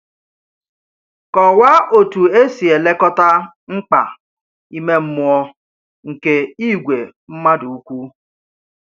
Kọwaa otu e si elekọta mkpa ime mmụọ nke ìgwè mmadụ ukwu.